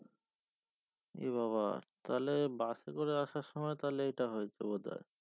এবাবা তাহলে bus এ করে আসার সময়ে তাহলে এটা হয়েছে বোধহয়